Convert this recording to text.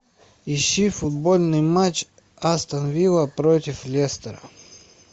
ищи футбольный матч астон вилла против лестера